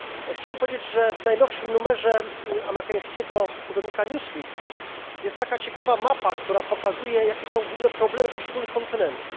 Chciałem powiedzieć, że w najnowszym numerze amerykańskiego tygodnika Newsweek jest taka ciekawa mapa, która pokazuje, jakie są główne problemy poszczególnych kontynentów.